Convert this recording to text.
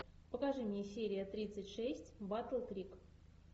покажи мне серия тридцать шесть батл крик